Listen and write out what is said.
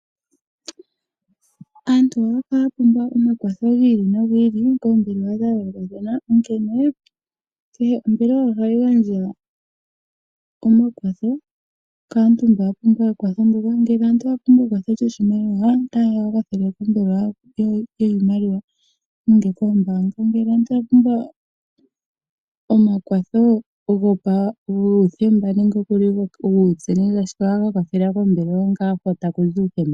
Aantu ohaya kala ya pumbwa omakwatho gi ili nogi ili koompumbwe dha yoolokathana, onkene kehe ombelewa ohayi gandja omakwatho kaantu mba yapumbwa omakwatho ngoka. Ngele omuntu owapumbwa ekwatho lyoshimaliwa otaya kakwathelwa pombelewa yiimaliwa guuthemba nenge koombaanga . Ngele omuntu okwapumbwa omakwatho guuthemba nenge guutse ohaya kakwathelwa kombelewa ngaa hono takuzi uuthemba.